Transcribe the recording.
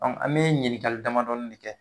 an be ɲininkali damadɔɔni de kɛ.